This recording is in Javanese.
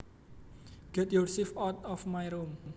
Get your shit out of my room